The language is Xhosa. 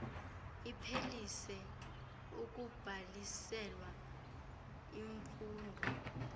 iphelise ukubhaliselwa imfundo